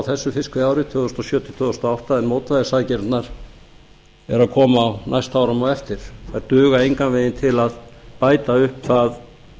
þessu fiskveiðiár tvö þúsund og sjö til tvö þúsund og átta en mótvægisaðgerðirnar eru að koma á næstu árum á eftir þær duga engan veginn til að bæta upp